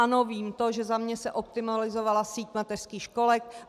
Ano, vím to, že za mě se optimalizovala síť mateřských školek.